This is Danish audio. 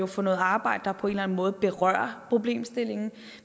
for noget arbejde der på en eller anden måde berører problemstillingen